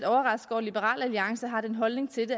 liberal alliance har den holdning til